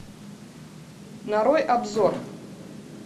нарой обзор